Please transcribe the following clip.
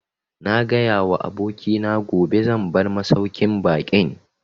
Na gaya wa abokina gobe zan bar masauƙin baƙin